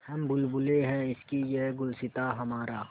हम बुलबुलें हैं इसकी यह गुलसिताँ हमारा